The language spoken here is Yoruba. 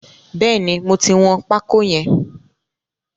Bẹ́ẹ̀ni, mo ti wọn pákó yẹn.